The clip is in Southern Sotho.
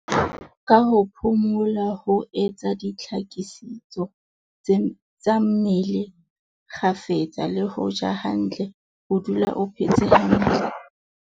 Ka ho phomola, ho etsa dihlakisetso tsa mmele kgafetsa, le ho ja hantle, o dula o phetse hantle.